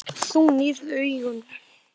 Þú nýrð augun.